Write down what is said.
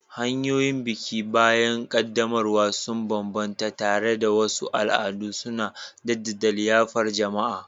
Hanyoyin biki bayan ƙaddamarwa sun bambanta, tare da wasu al'adu suna jaddada liyafar jama'a.